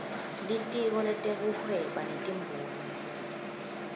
litiko letekuhweba netimboni